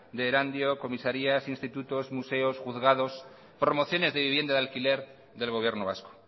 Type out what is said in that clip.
de erandio comisarias institutos museos juzgados promociones de vivienda de alquiler del gobierno vasco